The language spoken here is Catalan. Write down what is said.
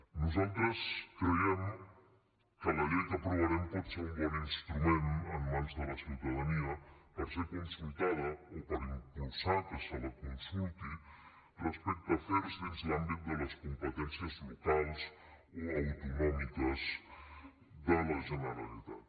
nosaltres creiem que la llei que aprovarem pot ser un bon instrument en mans de la ciutadania per ser consultada o per impulsar que se la consulti respecte a afers dins l’àmbit de les competències locals o autonòmiques de la generalitat